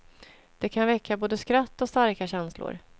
Det kan väcka både skratt och starka känslor.